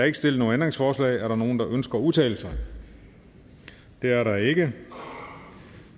ikke stillet ændringsforslag er der nogen der ønsker at udtale sig det er der ikke